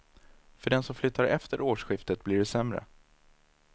För den som flyttar efter årsskiftet blir det sämre.